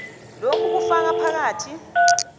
lokhu kufaka phakathi